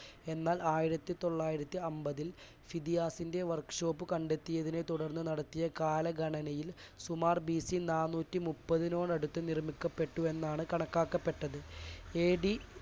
എന്നാൽ ആയിരത്തിതൊള്ളായിരത്തിഅമ്പതിൽ സിദിയാസിന്റെ work shop കണ്ടെത്തിയതിനെ തുടർന്ന് നടത്തിയ കാലഗണനയിൽ സുമാർ ബി സി നാനൂറ്റിമൂപ്പതിനോടടുത്ത് നിർമ്മിക്കപ്പെട്ടുവെന്നാണ് കണക്കാക്കപ്പെട്ടത്. A D